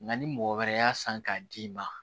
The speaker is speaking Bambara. Nka ni mɔgɔ wɛrɛ y'a san k'a d'i ma